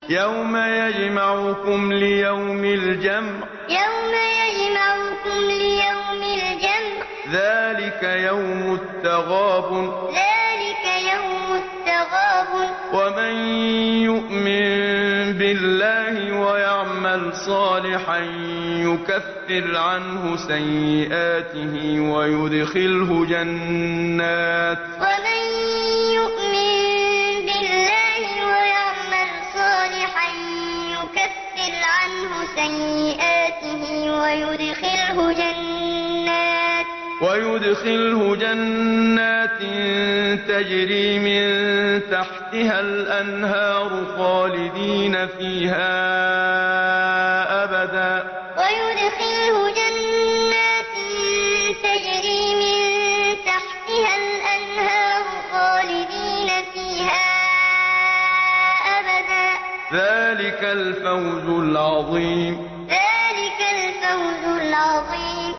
يَوْمَ يَجْمَعُكُمْ لِيَوْمِ الْجَمْعِ ۖ ذَٰلِكَ يَوْمُ التَّغَابُنِ ۗ وَمَن يُؤْمِن بِاللَّهِ وَيَعْمَلْ صَالِحًا يُكَفِّرْ عَنْهُ سَيِّئَاتِهِ وَيُدْخِلْهُ جَنَّاتٍ تَجْرِي مِن تَحْتِهَا الْأَنْهَارُ خَالِدِينَ فِيهَا أَبَدًا ۚ ذَٰلِكَ الْفَوْزُ الْعَظِيمُ يَوْمَ يَجْمَعُكُمْ لِيَوْمِ الْجَمْعِ ۖ ذَٰلِكَ يَوْمُ التَّغَابُنِ ۗ وَمَن يُؤْمِن بِاللَّهِ وَيَعْمَلْ صَالِحًا يُكَفِّرْ عَنْهُ سَيِّئَاتِهِ وَيُدْخِلْهُ جَنَّاتٍ تَجْرِي مِن تَحْتِهَا الْأَنْهَارُ خَالِدِينَ فِيهَا أَبَدًا ۚ ذَٰلِكَ الْفَوْزُ الْعَظِيمُ